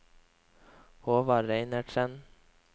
Håvard Reinertsen